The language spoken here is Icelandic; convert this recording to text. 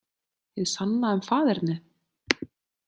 Hið sanna um faðernið?